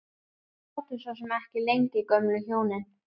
Þau sátu svo sem ekki lengi gömlu hjónin.